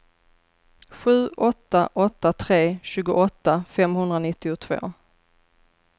sju åtta åtta tre tjugoåtta femhundranittiotvå